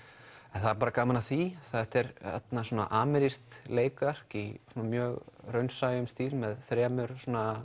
en það er bara gaman að því þetta er amerískt leikverk í mjög raunsæjum stíl með þremur